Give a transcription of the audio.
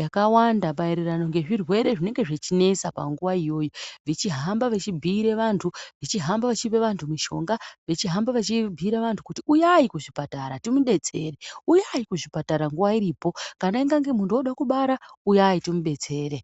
yakawanda maererano ngezvirwere zvinenge zvechinesa panguwa iyoyo ,vechihamba vechibhiire vantu , vechihamba vechipe vantu mushonga , vechihamba vechibhiire vantu kuti uya kuzvipatara timudetsere ,nuyi kuzvipatara nguwa iripo kana ingange muntu ode kubara uyai tumubetsere.